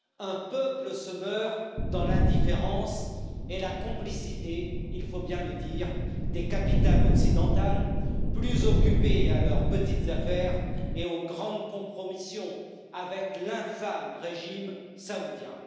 Un peuple se meurt dans l'indifférence et avec la complicité il faut bien le dire des capitales occidentales, plus occupées à leurs petites affaires et aux grandes compromissions avec l'infâme régime saoudien.